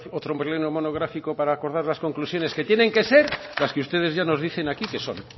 otro pleno monográfico para acordar las conclusiones que tienen que ser las que ustedes ya nos dicen aquí que son